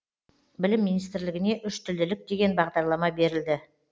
білім министрлігіне үштілділік деген бағдарлама берілді